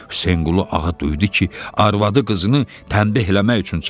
Hüseynqulu ağa duydu ki, arvadı qızını tənbih eləmək üçün çağırır.